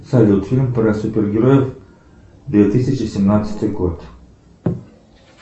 салют фильм про супергероев две тысячи семнадцатый год